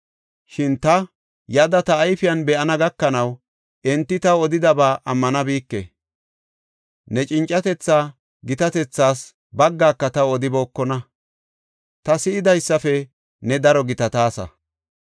Shin ta yada ta ayfen be7ana gakanaw enti taw odidaba ammanabike. Ne cincatetha gitatethaas baggaaka taw odibookona; ta si7idaysafe ne daro gitataasa.